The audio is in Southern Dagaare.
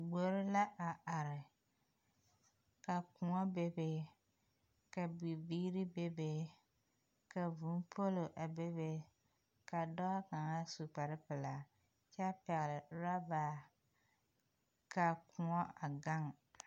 Gbori la a are ka koɔ bebe ka bibiiri bebe ka vūū poolo a bebe ka dɔɔ kaŋa su kparepelaa kyɛ pɛgle orɔba ka koɔ a gaŋ.